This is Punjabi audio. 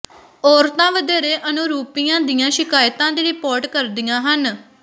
ਔਰਤਾਂ ਵਧੇਰੇ ਅਨੁਰੂਪੀਆਂ ਦੀਆਂ ਸ਼ਿਕਾਇਤਾਂ ਦੀ ਰਿਪੋਰਟ ਕਰਦੀਆਂ ਹਨ